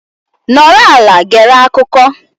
Nọrọ ala gere akụkọ.